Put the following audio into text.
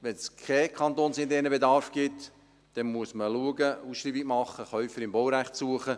Wenn es keinen kantonsinternen Bedarf gibt, muss man schauen, Ausschreibungen machen, Käufer im Baurecht suchen.